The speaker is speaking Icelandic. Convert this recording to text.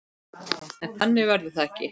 En þannig verður það ekki.